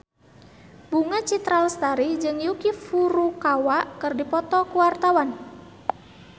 Bunga Citra Lestari jeung Yuki Furukawa keur dipoto ku wartawan